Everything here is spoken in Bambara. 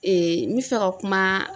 n bɛ fɛ ka kuma .